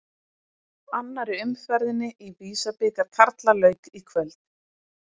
Annarri umferðinni í Visa-bikar karla lauk í kvöld.